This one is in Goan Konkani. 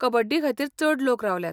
कबड्डीखातीर चड लोक रावल्यात.